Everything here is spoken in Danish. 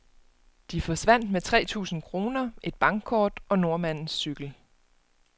De forsvandt med tre tusinde kroner, et bankkort og nordmandens cykel.